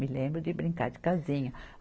Me lembro de brincar de casinha.